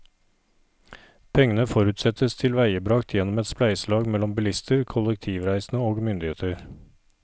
Pengene forutsettes tilveiebragt gjennom et spleiselag mellom bilister, kollektivreisende og myndigheter.